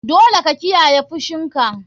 Dole ka kiyaye fushinka.